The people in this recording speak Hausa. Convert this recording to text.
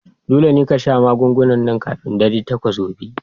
Dole ne ka sha wannan magungunan kafin dare takwas gobe!